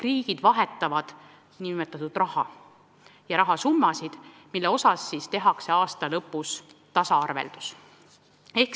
Riigid vahetavad rahasummasid, mille osas tehakse aasta lõpus tasaarveldus.